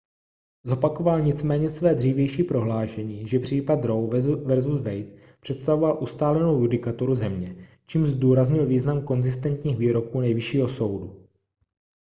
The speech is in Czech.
zopakoval nicméně své dřívější prohlášení že případ roe vs wade představoval ustálenou judikaturu země čímž zdůraznil význam konzistentních výroků nejvyššího soudu